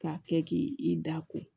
K'a kɛ k'i da ko